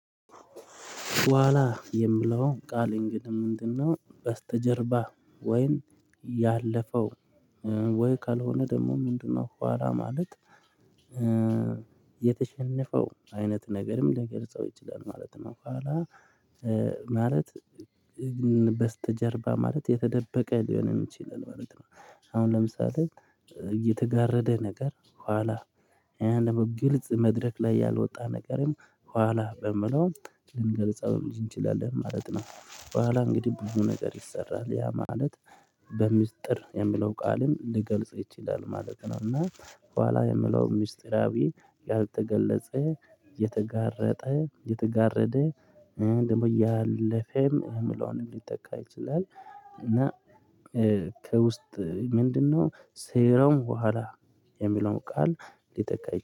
በኋላ የሚለው ቃል እንግዲህ ምንድነው በስተጀርባ ወይን ያለፈው ወይ ካልሆነ ደግሞ ምንድነው በኋላ ማለት? የተሸነፈው አይነት ነገርም ሊገልጸው ይችላል ማለት ነው። በኋላ ማለት በስተጀርባ ማለት የተደበቀ ሊሆንም ይችላል ማለት ነው። አሁን ለምሳሌ የተጋረደ ነገር ኋላ ይሄን ደግሞ ግልጽ መድረክ ላይ ያልወጣ ነገርም ኋላ በምለው ልንገልጸውም እንችላለን ማለት ነው። በኋላ እንግዲህ ብዙ ነገር ይሰራል ያ ማለት በሚስጥር የሚለው ቃልም ሊገልጽ ይችላል ማለት ነው። እና ኋላ የሚለው ሚስጥራዊ ያልተገለጸ የተጋረጠ የተጋረደ ደግሞ እያለፈም የሚላውን ሊተካ ይችላል እና ከውስጥ ምንድነው? ሴራው በኋላ የሚለውን ቃል ሊተካ ይችላል